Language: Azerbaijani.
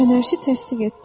Fənərçi təsdiq etdi.